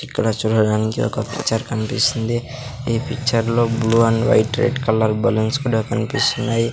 ఇక్కడ చూడడానికి ఒక పిక్చర్ కన్పిస్తుంది ఈ పిచ్చర్ లో blue and white red colour balloons కూడా కన్పిస్తున్నాయి.